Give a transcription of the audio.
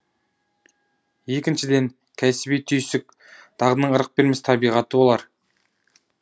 екіншіден кәсіби түйсік дағдының ырық бермес табиғаты болар